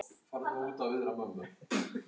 Helga: Og hvernig líður ykkur?